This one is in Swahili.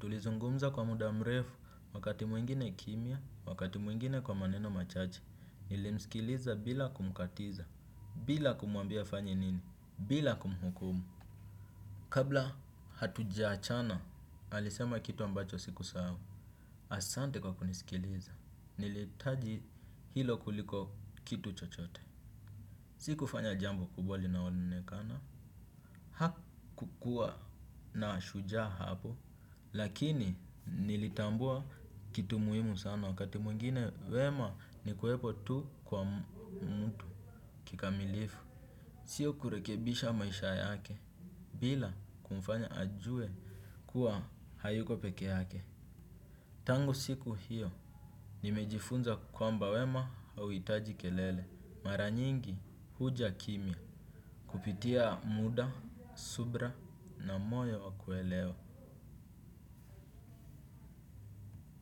Tulizungumza kwa muda mrefu wakati mwingine kimya wakati mwingine kwa maneno machache. Nilimsikiliza bila kumkatiza. Bila kumwambia afanye nini, bila kumhukumu. Kabla hatuja achana, alisema kitu ambacho siku sahau. Asante kwa kunisikiliza, niliitaji hilo kuliko kitu chochote. Sikufanya jambo kubwa linao onekana. Hakukua na shujaa hapo, lakini nilitambua kitu muhimu sana. Wakati mwingine wema ni kuwepo tu kwa mtu kikamilifu. Sio kurekebisha maisha yake, bila kumfanya ajue kuwa hayuko peke yake. Tangu siku hiyo, nimejifunza kwamba wema hau itaji kelele. Mara nyingi huja kimya. Kupitia muda, subra na moyo wa kuelewa.